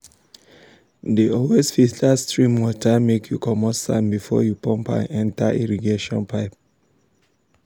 i no dey plant leaf vegetable under full sun when sun when harmattan heat don peak.